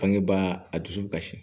Bangebaa a dusu kasi